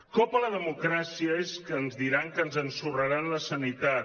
cop a la democràcia és que ens diran que ens ensorraran la sanitat